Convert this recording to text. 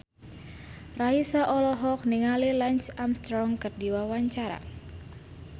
Raisa olohok ningali Lance Armstrong keur diwawancara